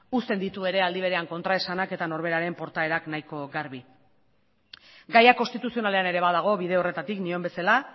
usten ditu ere aldi berean kontraesanak eta norberaren portaerak nahiko garbi gaia konstituzionalean ere badago bide horretatik nion bezala